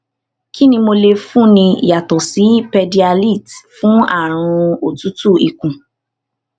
kí ni mo lè fúnni yàtọ sí pédíályte fún àrùn otutu ikun